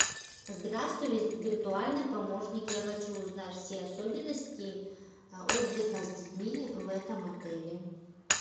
здравствуй виртуальный помощник я хочу узнать все особенности отдыха с детьми в этом отеле